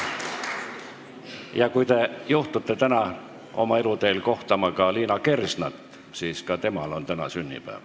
Ja kui te juhtute täna oma eluteel kohtama Liina Kersnat, siis infoks, et ka temal on täna sünnipäev.